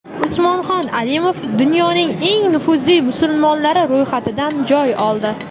Usmonxon Alimov dunyoning eng nufuzli musulmonlari ro‘yxatidan joy oldi.